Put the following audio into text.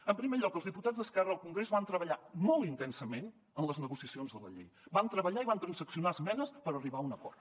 en primer lloc els diputats d’esquerra al congrés van treballar molt intensament en les negociacions de la llei van treballar i van transaccionar esmenes per arribar a un acord